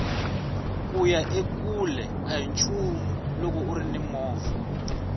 kuya ekule ahi nchumu loko urini movha